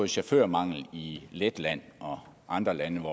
chaufførmanglen i letland og andre lande